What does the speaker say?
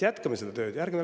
Jätkame seda tööd!